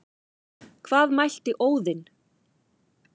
Hvað mælti Óðinn,